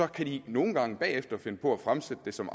kan de nogle gange bagefter finde på at fremsætte det som